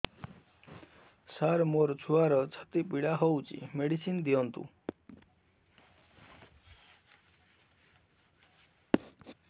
ସାର ମୋର ଛୁଆର ଛାତି ପୀଡା ହଉଚି ମେଡିସିନ ଦିଅନ୍ତୁ